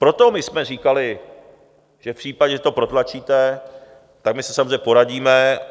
Proto my jsme říkali, že v případě, že to protlačíte, tak my se samozřejmě poradíme.